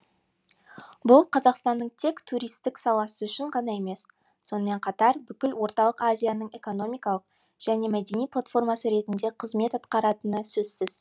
бұл қазақстанның тек туристік саласы үшін ғана емес сонымен қатар бүкіл орталық азияның экономикалық және мәдени платформасы ретінде қызмет атқаратыны сөзсіз